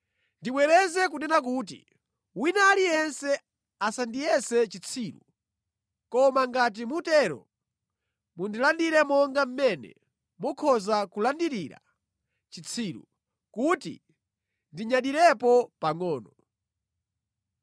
Ndibwereze kunena kuti, wina aliyense asandiyese chitsiru. Koma ngati mutero, mundilandire monga mmene mukhoza kulandirira chitsiru, kuti ndinyadirepo pangʼono.